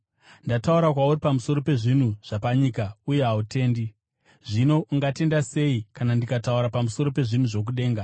Ndataura kwauri pamusoro pezvinhu zvapanyika uye hautendi; zvino ungatenda sei kana ndikataura pamusoro pezvinhu zvokudenga?